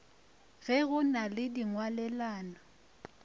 ge go na le dingwalelano